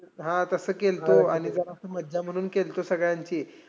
हां. तसं केलतो आणि जरासं मज्जा म्हणून केलतो सगळ्यांची.